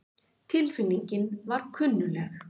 Tilfinningin var kunnugleg.